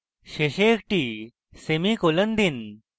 শেষে একটি semicolon দিন